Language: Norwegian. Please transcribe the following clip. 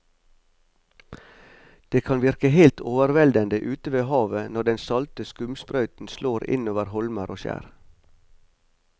Det kan virke helt overveldende ute ved havet når den salte skumsprøyten slår innover holmer og skjær.